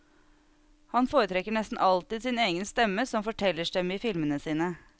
Han foretrekker nesten alltid sin egen stemme som fortellerstemme i filmene sine.